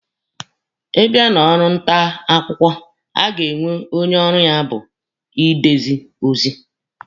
Ị bịa na ọrụ nta akwụkwọ, a ga-enwe onye ọrụ ya bụ ide ozi.